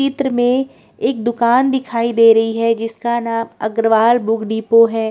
चित्र में एक दुकान दिखाई दे रही हैं जिसका नाम अग्रवाल बुक डिपो हैं।